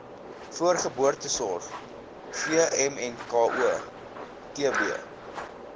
voorgeboortesorg vmnko tb